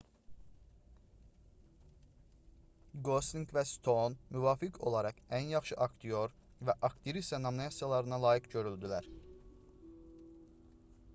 qoslinq və stoun müvafiq olaraq ən yaxşı aktyor və aktrisa nominasiyalarına layiq görüldülər